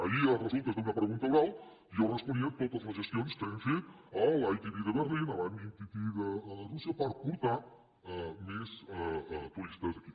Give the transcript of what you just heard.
ahir a resultes d’una pregunta oral jo responia totes les gestions que hem fet a l’itb de berlin a la mitt de rússia per portar més turistes aquí